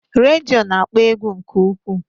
Redio na-akpọ egwu nke ukwuu